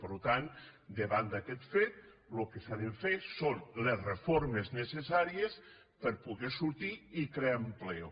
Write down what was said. per tant davant d’aquest fet el que s’ha de fer són les reformes necessàries per poder sortir i crear empleo